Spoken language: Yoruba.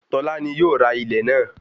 Tọ́lá ni yóò ra ilẹ̀ náà